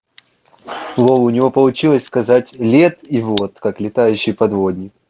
лол у него получилось сказать лет и вот как летающий подводник